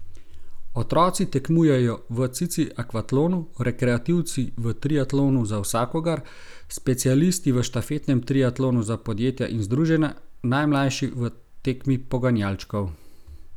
Otroci tekmujejo v cici akvatlonu, rekreativci v triatlonu za vsakogar, specialisti v štafetnem triatlonu za podjetja in združenja, najmlajši v tekmi poganjalčkov.